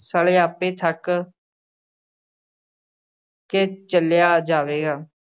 ਸਾਲੇ ਆਪੇ ਥੱਕ ਕੇ ਚਲਿਆ ਜਾਵੇਗਾ।